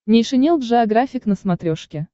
нейшенел джеографик на смотрешке